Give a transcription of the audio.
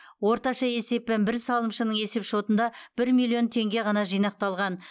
орташа есеппен бір салымшының есепшотында бір миллион теңге ғана жинақталған